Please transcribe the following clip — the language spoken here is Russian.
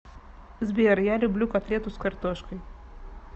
сбер я люблю котлету с картошкой